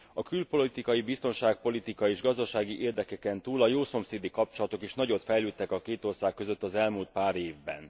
A külpolitikai, biztonságpolitikai és gazdasági érdekeken túl a jószomszédi kapcsolatok is nagyot fejlődtek a két ország között az elmúlt pár évben.